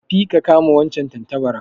Tafi ka kama wancan tantabarar